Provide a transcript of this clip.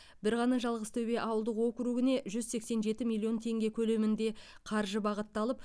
бір ғана жалғызтөбе ауылдық округіне жүз сексен жеті миллион теңге көлемінде қаржы бағытталып